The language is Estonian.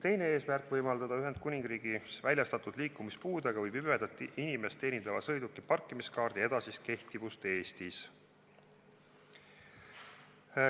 Teine eesmärk on võimaldada Ühendkuningriigis väljastatud liikumispuudega või pimedat inimest teenindava sõiduki parkimiskaardi edasine kehtivus Eestis.